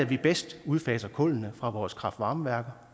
vi bedst udfaser kullene fra vores kraftvarmeværker